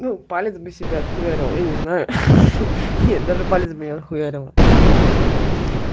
ну палец бы себе отхуярил я не знаю нет даже палец бы не отхуярила пиздец